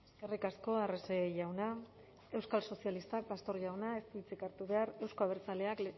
eskerrik asko arrese jauna euskal sozialistak pastor jaunak ez du hitzik hartu behar euzko abertzaleak